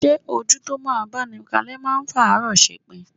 Ṣé ojú tó máa báni kalẹ́ máa ń fàárọ ṣepin?